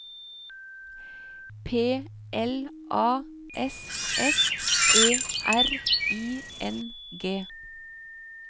P L A S S E R I N G